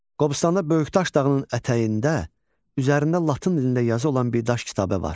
Qobustanda Böyükdaş dağının ətəyində üzərində Latın dilində yazı olan bir daş kitabə var.